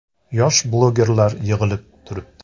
Yosh blogerlar yig‘ilib turibdi.